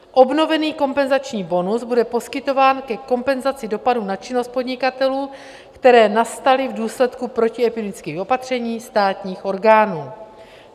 Obnovený kompenzační bonus bude poskytován ke kompenzaci dopadů na činnost podnikatelé, které nastaly v důsledku protiepidemických opatření státních orgánů.